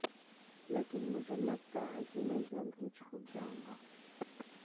लेकिन मुझे लगता है कि मैं जल्द ही छूट जाऊंगा